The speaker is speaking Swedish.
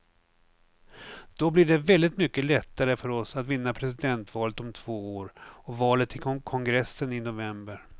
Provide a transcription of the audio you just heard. Då blir det väldigt mycket lättare för oss att vinna presidentvalet om två år och valet till kongressen i november.